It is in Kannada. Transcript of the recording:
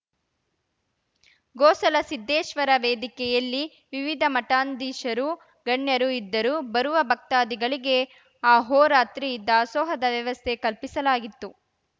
ಗೋಸಲ ಸಿದ್ದೇಶ್ವರ ವೇದಿಕೆಯಲ್ಲಿ ವಿವಿಧ ಮಠಾಧೀಶರು ಗಣ್ಯರು ಇದ್ದರು ಬರುವ ಭಕ್ತಾದಿಗಳಿಗೆ ಆಹೋರಾತ್ರಿ ದಾಸೋಹದ ವ್ಯವಸ್ಥೆ ಕಲ್ಪಿಸಲಾಗಿತ್ತು